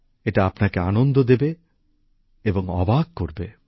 এটা আপনাকে আনন্দ দেবে এবং অবাক করবে